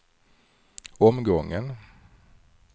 omgången